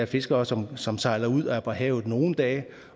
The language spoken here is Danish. fiskere som som sejler ud og er på havet i nogle dage